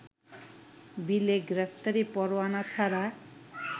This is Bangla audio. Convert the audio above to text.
বিলে গ্রেপ্তারি পরোয়ানা ছাড়া